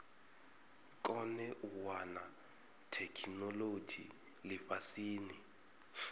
kone u wana theikinolodzhi lifhasini